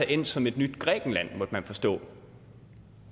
endt som et nyt grækenland måtte man forstå